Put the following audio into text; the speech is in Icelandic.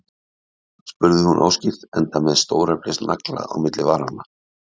spurði hún óskýrt, enda með stóreflis nagla á milli varanna.